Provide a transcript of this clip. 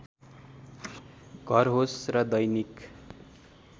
घर होस् र दैनिक